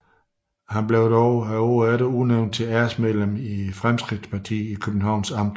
Han blev dog året efter udnævnt til æresmedlem i Fremskridtspartiet i Københavns Amt